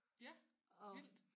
Ja vildt